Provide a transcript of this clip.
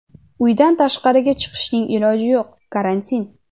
Uydan tashqariga chiqishning iloji yo‘q, karantin.